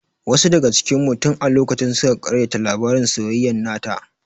Wasu daga cikin mu tin a lokacin suka ƙaryata labarin soyayyan nata